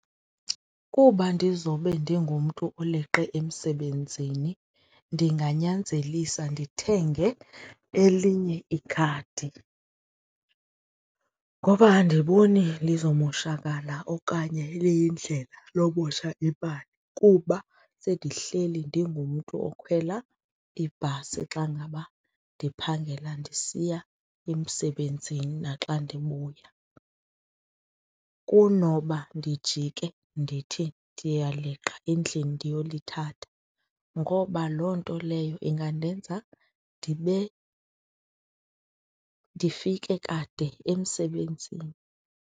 Kuba ndizobe ndingumntu oleqe emsebenzini ndinganyanzelisela ndithenge elinye ikhadi ngoba andiboni lizomoshakala okanye liyindlela lomosha imali kuba sendihleli ndingumntu okhwela ibhasi xa ngaba ndiphangela ndisiya emsebenzini naxa ndibuya kunoba ndijike ndithi ndiyaleqa endlini ndiyolithatha ngoba loo nto leyo ingandenza ndibe, ndifike kade emsebenzini.